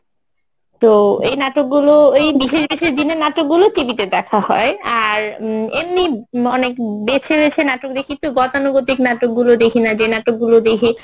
তো এই নাটকগুলো এই বিশেষ বিশেষ দিনের নাটকগুলো TV তে দেখা হয় আর অ্যাঁ এমনি অনেক বেছে বেছে নাটক দেখি তো গতানুগতিক নাটক গুলো দেখি না যে নাটক গুলো দেখি